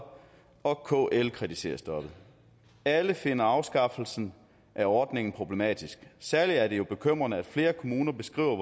og kl kritiserer stoppet alle finder afskaffelsen af ordningen problematisk særlig er det jo bekymrende at flere kommuner beskriver